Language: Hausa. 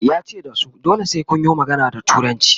yace da su "dole sai Kun yo magana da turanci"